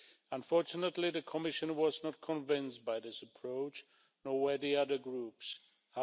Unfortunately, the Commission was not convinced by this approach, nor were the other political groups.